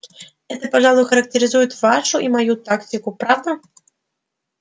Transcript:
это пожалуй характеризует вашу и мою тактику правда